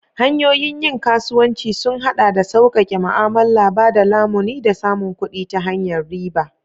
Hanyoyin yin kasuwanci sun haɗa da sauƙaƙe ma'amala, ba da lamuni, da samun kuɗi ta hanyar riba.